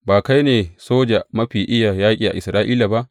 Ba kai ne soja mafi iya yaƙi a Isra’ila ba?